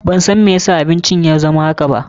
Ban san mai ya sa abincin ya zama haka ba.